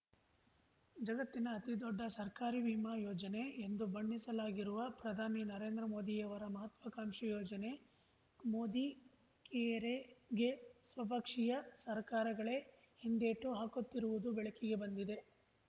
ಜಗತ್ತಿನ ಅತಿದೊಡ್ಡ ಸರ್ಕಾರಿ ವಿಮಾ ಯೋಜನೆ ಎಂದು ಬಣ್ಣಿಸಲಾಗಿರುವ ಪ್ರಧಾನಿ ನರೇಂದ್ರ ಮೋದಿಯವರ ಮಹತ್ವಾಕಾಂಕ್ಷಿ ಯೋಜನೆ ಮೋದಿಕೇರೆಗೆ ಸ್ವಪಕ್ಷೀಯ ಸರ್ಕಾರಗಳೇ ಹಿಂದೇಟು ಹಾಕುತ್ತಿರುವುದು ಬೆಳಕಿಗೆ ಬಂದಿದೆ